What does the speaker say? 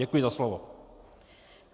Děkuji za slovo.